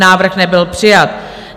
Návrh nebyl přijat.